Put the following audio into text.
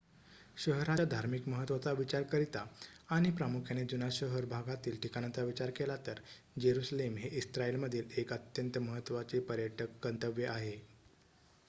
शहराच्या धार्मिक महत्वाचा विचार करिता आणि प्रामुख्याने जुन्या शहर भागातील ठिकाणांचा विचार केला तर जेरुसलेम हे इस्राइल मधील एक अत्यंत महत्वाचे पर्यटक गंतव्य आहे